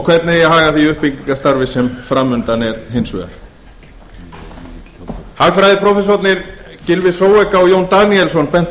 hvernig eigi að haga því uppbyggingarstarfi sem fram undan er hins vegar hagfræðiprófessorarnir gylfi og jón daníelsson bentu